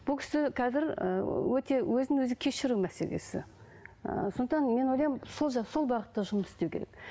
бұл кісі қазір ыыы өте өзін өзі кешіру мәселесі ыыы сондықтан мен ойлаймын сол сол бағытта жұмыс істеу керек